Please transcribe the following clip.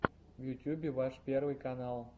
в ютьюбе ваш первый канал